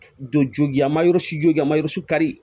Don jogi an ma yɔrɔ si jo k'a mayɔrɔ su kari